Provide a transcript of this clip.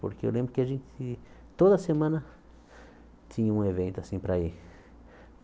Porque eu lembro que a gente, toda semana, tinha um evento assim para ir.